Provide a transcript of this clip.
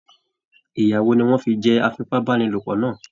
Ìya wò ní wọn fí jẹ afipabanilopo náà?